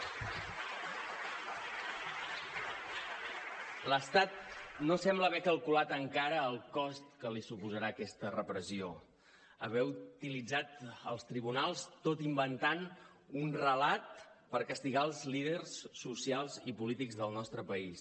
l’estat no sembla haver calculat encara el cost que li suposarà aquesta repressió haver utilitzat els tribunals tot inventant un relat per castigar els líders socials i polítics del nostre país